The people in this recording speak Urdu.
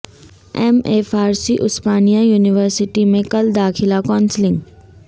M A Farsi Osmania university میں کل داخلہ کونسلنگ